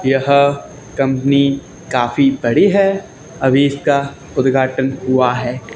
यह कंपनी काफी बड़ी है अभी इसका उद्घाटन हुआ है।